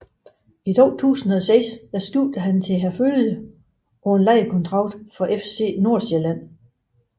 I 2006 skiftede han til Herfølge på en lejeaftale fra FC Nordsjælland